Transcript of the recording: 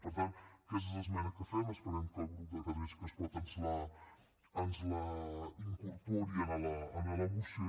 per tant aquesta és l’esmena que fem esperem que el grup de catalunya sí que es pot ens la incorpori a la moció